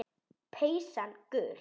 Peysan gul.